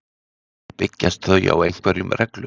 Byggjast þau á einhverjum reglum?